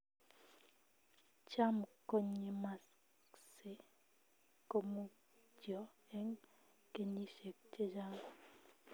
Cham kong'emakse komutyo eng kenyishek chechang